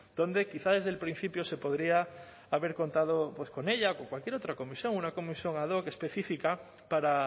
donde quizá desde el principio se podría haber contado pues con ella o en cualquier otra comisión una comisión ad hoc específica para